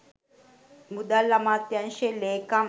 මුදල් අමාත්‍යංශයේ ‍ලේකම්